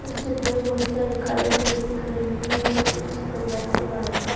इस चित्र में बहुत सारी कारें खड़ी दिख रही हैं ये चित्र किसी पंडाल के बाहर का--